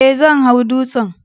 Ee, zan hau dutsen